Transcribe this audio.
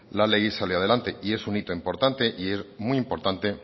la ley salió adelante es un hito importante y es muy importante